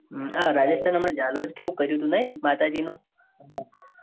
હા રાજસ્થાન અમર જાલોર કેવું કર્યું હતું નાઈ. માતાજીનું